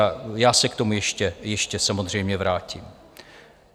A já se k tomu ještě samozřejmě vrátím.